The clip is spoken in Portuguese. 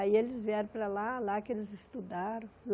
Aí eles vieram para lá, lá que eles estudaram.